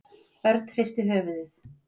Örn hristi höfuðið.